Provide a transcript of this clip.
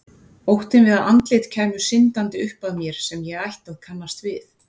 Óttinn við að andlit kæmu syndandi upp að mér sem ég ætti að kannast við.